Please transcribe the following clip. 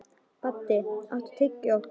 Baddi, áttu tyggjó?